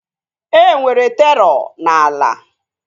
E nwere terọ n'ala